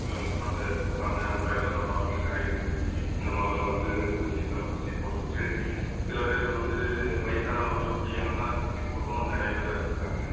அஹ் கொஞ்சம் கொடுத்தாங்க. அப்புறம் எல்லாம் நம்ம நாட்ல இந்த மருந்தை வந்து ஊசியை தடுப்பூசி போட்டுக்கிட்டு சில பேர் வந்து வயசானவங்களும் முடியாம ஊசி போட்டும் நிறைய பேர் இறந்துட்டாங்க.